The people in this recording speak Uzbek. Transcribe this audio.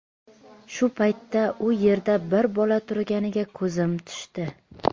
Shu paytda u yerda bir bola turganiga ko‘zim tushdi.